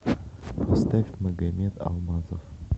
поставь магамед алмазов